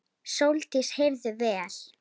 Sóldís heyrði vel.